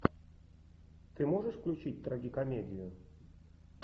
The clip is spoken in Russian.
ты можешь включить трагикомедию